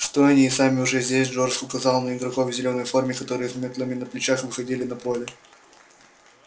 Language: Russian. что они и сами уже здесь джордж указал на игроков в зелёной форме которые с мётлами на плечах выходили на поле